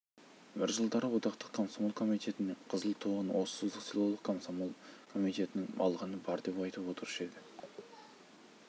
бір жылдары одақтық комсомол комитетінің қызыл туын осы созақ селолық комсомол комитетінің алғаны бар деп айтып отырушы еді